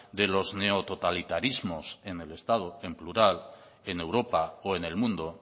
de los neototalitarismos en el estado en plural en europa o en el mundo